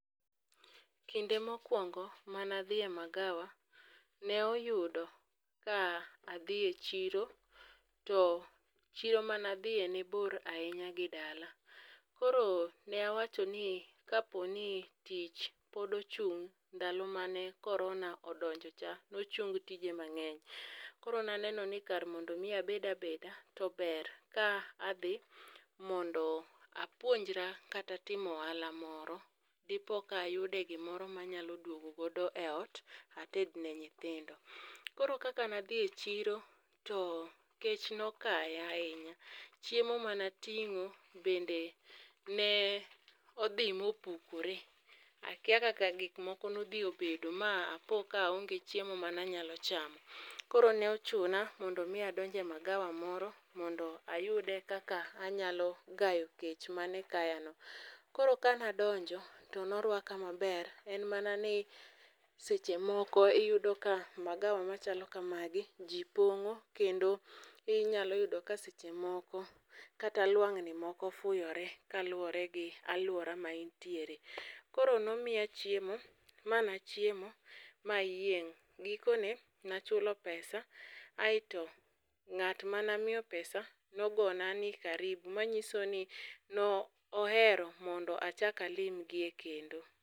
Kinde mokwongo manadhi e magawa, ne oyudo ka adhi e chiro to chiro manadhiye ne bor ahinya gi dala. koro nawachoni kaponi tich pod ochung' ndalo mane korona odonjocha, nochung tije mang'eny. Koro naneno ni kar mondo omi abed abeda, to ber ka adhi mondo apuonjra kata timo ohala moro, dipoka ayude gimoro manyalo dwogo godo e ot ated ne nyithindo. Koro kaka nadhi e chiro, to kech nokaya ahinya, chiemo manating'o bende ne odhi mopukore ,akia kaka gik moko nodhi obedo ma apoka aonge chiemo manyalo chamo. Koro nochuna mondo omi adonj e magawa moro mondo ayude kaka anyalo gayo kech mane kayano. Koro ka nadonjo, norwako maber en mana ni seche moko iyudo ka magawa machalo kamagi ji pong'o kendo inyalo yudo ka seche moko kata lwang'ni moko fuyore kaluwore gi alwora ma entiere. Koro nomiya chiemo ma nachiemo mayieng',gikone nachulo pesa, aeto ng'at manamiyo pesa nogona ni karibu manyiso ni nohero mondo achak alimgie kendo.